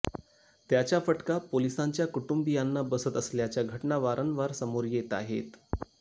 त्याचा फटका पोलीसांच्या कुटुंबीयांना बसत असल्याच्या घटना वारंवार समोर येत आहेत